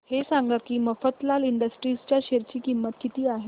हे सांगा की मफतलाल इंडस्ट्रीज च्या शेअर ची किंमत किती आहे